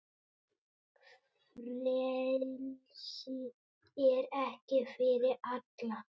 Frelsi er ekki fyrir alla.